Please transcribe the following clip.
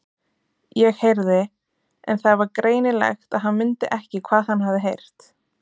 ég heyrði. En það var greinilegt að hann mundi ekki hvað hann hafði heyrt.